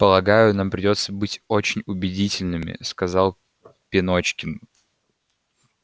полагаю нам придётся быть очень убедительными сказал пеночкин